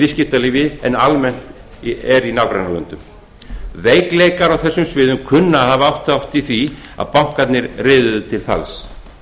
viðskiptalífi en almennt er í nágrannalöndunum veikleikar á þessum sviðum kunna að hafa átt þátt í því að bankarnir riðuðu til falls